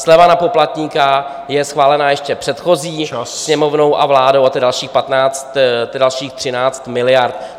Sleva na poplatníka je schválená ještě předchozí Sněmovnou a vládou, a to je dalších 13 miliard.